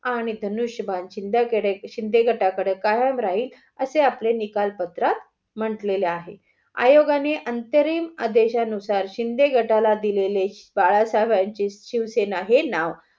आणि धनुष्यबाण चिन्ह शिंदे गटा कडे कायम राहील असे आपले निकालपत्र म्हंटले आहे. आयोगाने अंतरिम आदेश नुसार शिंदे गटाला दिलेले बाळासाहेबची शिवसेना हे नाव